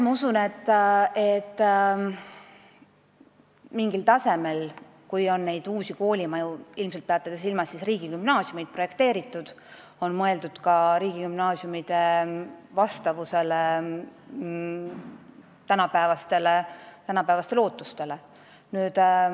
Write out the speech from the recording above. Ma usun, et mingil tasemel on uusi koolimaju projekteerides – ilmselt peate te silmas riigigümnaasiumeid – mõeldud ka sellele, et need vastaks tänapäevastele ootustele.